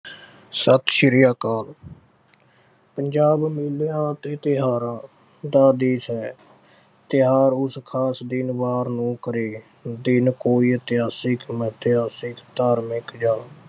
ਸਤਿ ਸ੍ਰੀ ਅਕਾਲ। ਪੰਜਾਬ ਮੇਲਿਆ ਤੇ ਤਿਓਹਾਰਾਂ ਦਾ ਦੇਸ਼ ਹੈ। ਤਿਓਹਾਰ ਉਸ ਖਾਸ ਦਿਨ ਵਾਰ ਨੂੰ ਕਰੇ। ਦਿਨ ਕੋਈ ਇਤਿਹਾਸਿਕ, ਮਿਥਿਹਾਸਿਕ, ਧਾਰਮਿਕ ਜਾਂ।